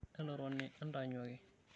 Entotoni entaanyuaki.